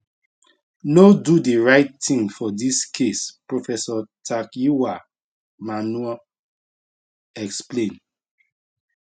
no do di right tin for dis case professor takyiwaa manuh explain